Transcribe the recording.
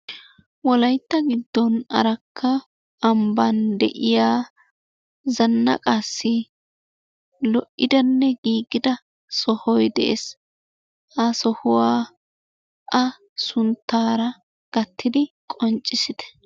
Wolaytta giddon Arakka ambbaan de'iya zanaqqaassi lo"iddanne giiggida sohoy de'ees, ha sohuwa a sunttaara gattidi qonccissite.